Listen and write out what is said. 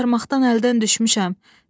Səni axtarmaqdan əldən düşmüşəm.